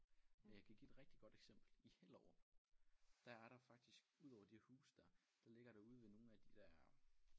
Og jeg kan give et rigtig godt eksempel i Hellerup der er der faktisk udover de huse der der ligger der ude ved nogle af de der